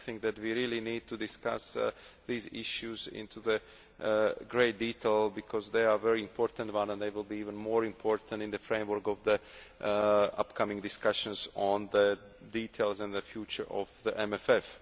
I think that we really need to discuss these issues in great detail because they are very important and they will be even more important in the framework of the forthcoming discussions on the details and the future of the MFF.